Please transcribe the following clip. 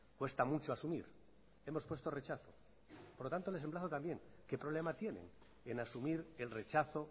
cuesta mucho asumir hemos puesto rechazo por lo tanto les emplazo también qué problema tienen en asumir el rechazo